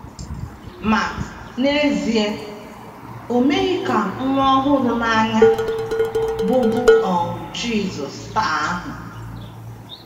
Ma, n’ezie, o meghị ka nwa ọ hụrụ n’anya, bụ́ bụ́ um Jisọs, taa ahụ.